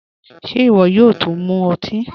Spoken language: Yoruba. Ṣé iwọ yóò tún mú ọtí?